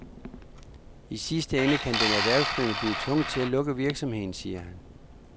I sidste ende kan den erhvervsdrivende blive tvunget til at lukke virksomheden, siger han.